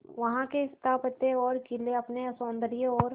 वहां के स्थापत्य और किले अपने सौंदर्य और